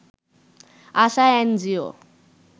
Asha NGO